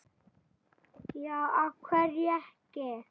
Já, af hverju ekki?